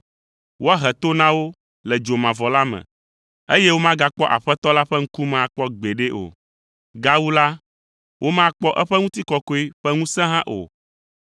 Woahe to na wo le dzomavɔ la me, eye womagakpɔ Aƒetɔ la ƒe ŋkume akpɔ gbeɖe o. Gawu la, womakpɔ eƒe ŋutikɔkɔe ƒe ŋusẽ hã o,